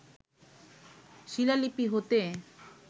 শিলালিপি হতে